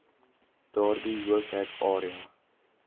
daardie hoofhek area